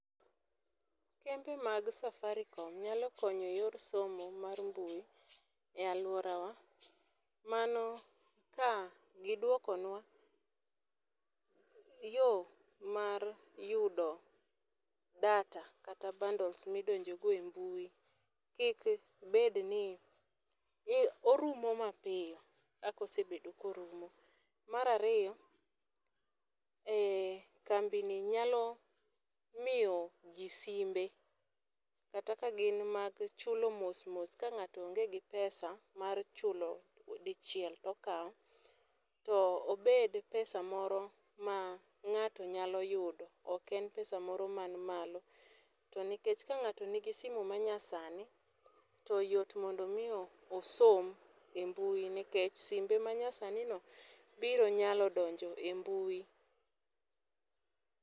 Kembe mag Safaricom nyalo konyo e yor somo mar mbui e alworawa. Mano ka giduokonwa yo mar yudo data, kata bundles ma idonjo go e mbui, kik bed ni orumo mapiyo kaka osebedo ka orumo. Mar ariyo, kambi ni nyalo miyo ji simbe, kata ka gin mag chulo mos mos ka ngáto onge gi pesa mar chulo dichiel to okawo. To obed pesa moro ma ngáto nyalo yudo, ok en pesa moro man malo. To nikech ka ngáto nigi simu ma nyasani, to yot mondo mi osom e mbui nikech simbe ma nyasani no biro nyalo donjo e mbui.